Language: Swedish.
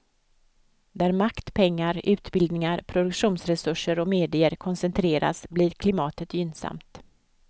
Där makt, pengar, utbildningar, produktionsresurser och medier koncentreras blir klimatet gynnsamt.